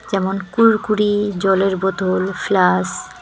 যেমন- কুরকুরি জলের বোতল ফ্লাস্ক ।